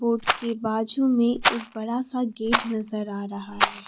Road के बाजू में एक बड़ा सा गेट नजर आ रहा है।